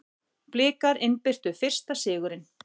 Blikar innbyrtu fyrsta sigurinn